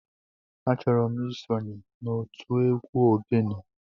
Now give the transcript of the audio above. Achoro m isonye n'otu egwu ogene.